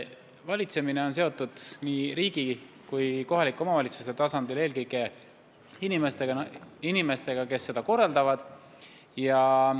Valitsemine sõltub nii riigi kui kohalike omavalitsuste tasandil eelkõige inimestest, kes seda korraldavad.